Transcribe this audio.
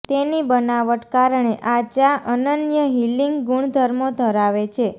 તેની બનાવટ કારણે આ ચા અનન્ય હીલિંગ ગુણધર્મો ધરાવે છે